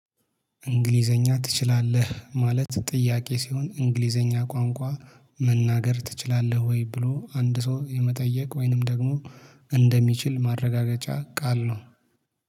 እንግሊዘኛ ትችላለህ ማለት ጥያቄ ሲሆን እንግሊዘኛ ቋንቋ መናገር ትችላለህ? ወይ ብሎ አንድ ሰው የመጠየቅ ወይንም ደግሞ እንደሚችል ማረጋገጫ ቃል ነው